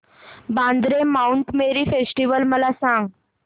Vandre Mount Mary festival मला सांग